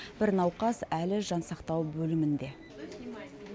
бір науқас әлі жансақтау бөлімінде